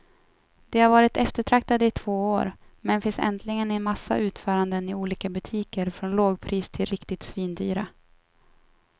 De har varit eftertraktade i två år, men finns äntligen i en massa utföranden i olika butiker från lågpris till riktigt svindyra.